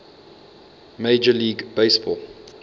major league baseball